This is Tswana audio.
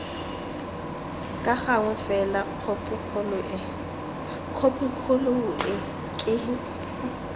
ka gangwe fela khopikgolo ke